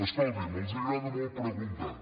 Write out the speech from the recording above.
escoltin els agrada molt preguntar